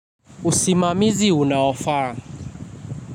Usimamizi unaofaa.